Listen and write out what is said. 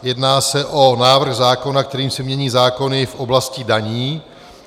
Jedná se o návrh zákona, kterým se mění zákony v oblasti daní.